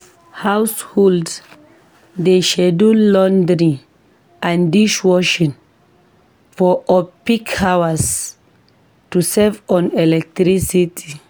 Households dey schedule laundry and dishwashing for off-peak hours to save on electricity.